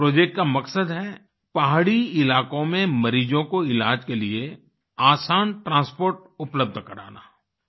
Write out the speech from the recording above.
इस प्रोजेक्ट का मकसद है पहाड़ी इलाकों में मरीजों को इलाज के लिए आसान ट्रांसपोर्ट उपलब्ध कराना